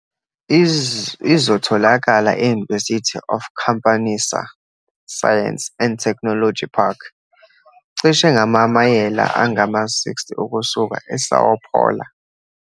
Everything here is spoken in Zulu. Izotholakala e-University of Campinas Science and Technology Park, cishe ngamamayela angama-60 ukusuka eSão Paulo.